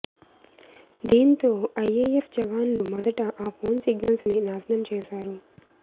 దీంతో ఐఏఎఫ్ జవాన్లు మొదట ఆ ఫోన్ సిగ్నల్స్ని నాశనం చేశారు